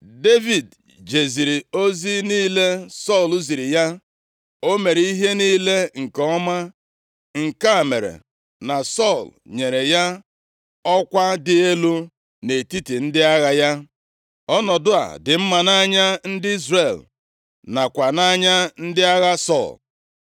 Devid jeziri ozi niile Sọl ziri ya, o mere ihe niile nke ọma nke a mere na Sọl nyere ya ọkwa dị elu nʼetiti ndị agha ya. Ọnọdụ a dị mma nʼanya ndị Izrel nakwa nʼanya ndị agha Sọl.